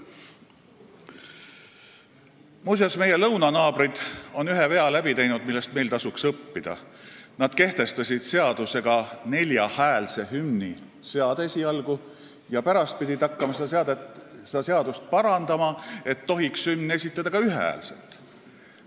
Muuseas, meie lõunanaabrid on teinud ühe vea, millest meil tasuks õppida: nad kehtestasid seadusega esialgu neljahäälse hümni seade ja pärast pidid hakkama seadust parandama, et hümni tohiks esitada ka ühehäälselt.